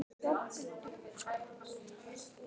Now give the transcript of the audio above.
það kom þó hvergi fram: fjárþörfin þekkti engan botn.